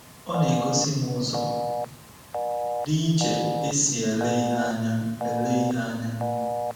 Ọ na-egosi m ụzọ dị iche e si ele ihe anya ele ihe anya ”